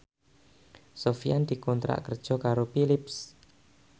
Sofyan dikontrak kerja karo Philips